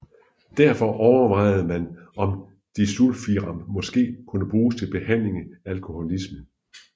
Derfor overvejede man om disulfiram måske kunne bruges til behandling af alkoholisme